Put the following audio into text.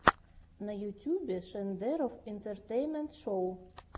на ютьюбе шендерофф интэртэйнмэнт шоу